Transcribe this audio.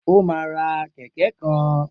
O máa ra kẹ̀kẹ́ kan.